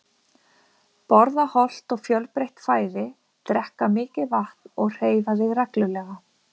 Borða hollt og fjölbreytt fæði, drekka mikið vatn og hreyfa þig reglulega.